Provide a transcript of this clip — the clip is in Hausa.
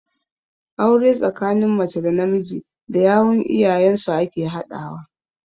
Aure tsakanin mace da namiji da yawun iyayen su ake haɗawa.